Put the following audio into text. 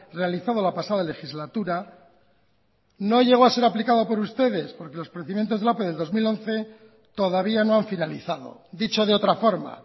realizado la pasada legislatura no llegó a ser aplicado por ustedes porque los procedimientos de la ope del dos mil once todavía no han finalizado dicho de otra forma